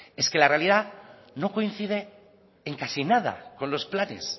es que la realidad no coincide en casi nada con los planes